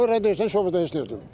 Şoferə deyirsən şofer heç nə eləmir.